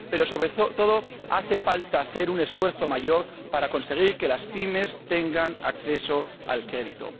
Pero, sobre todo, hace falta hacer un esfuerzo mayor para conseguir que las PYME tengan acceso al crédito.